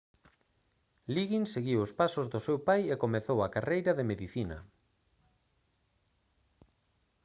liggins seguiu os pasos do seu pai e comezou a carreira de medicina